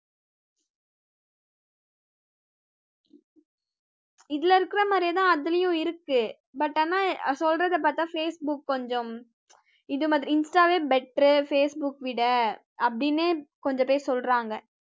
இதுல இருக்கிற மாதிரியே தான் அதுலயும் இருக்கு but ஆனா சொல்றதே பார்த்தா facebook கொஞ்சம் இது மாதிரி insta வே better facebook விட அப்படீன்னு கொஞ்ச பேர் சொல்றாங்க